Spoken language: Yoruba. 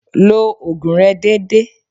Lo ògùn rẹ dédé.